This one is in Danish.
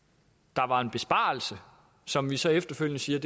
der var en besparelse som vi så efterfølgende siger